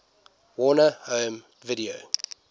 warner home video